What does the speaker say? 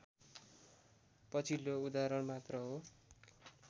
पछिल्लो उदाहरण मात्र हो